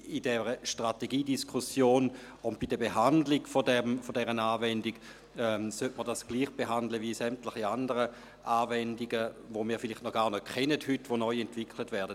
Im Rahmen dieser Strategiediskussion und der Behandlung dieser Anwendung sollte diese gleich behandelt werden wie sämtliche anderen Anwendungen, welche wir heute vielleicht noch nicht kennen, welche neu entwickelt werden.